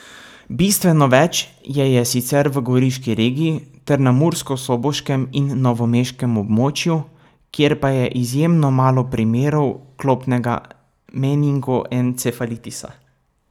Bistveno več je je sicer v goriški regiji ter na murskosoboškem in novomeškem območju, kjer pa je izjemno malo primerov klopnega meningoencefalitisa.